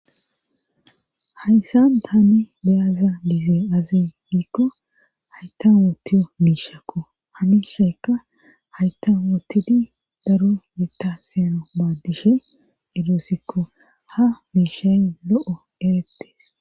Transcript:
hayssan tani beyaza gize azi giikko hayta wootiyo miishakko ha mishakka hayta wootidi daro yetta siyanaw maaddishe edoosikko ha miishay lo'o eretees